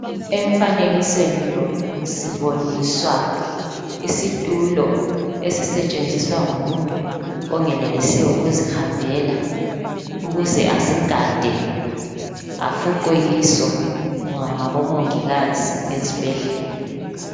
Emfanekisweni lo siboniswa isitulo esisetshenziswa ngumuntu ongenelisiyo ukuzihambela ukuze ahlale afuqwe kiso ngabomongikazi ezibhedlela.